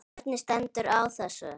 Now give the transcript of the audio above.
Hvernig stendur á þessu?.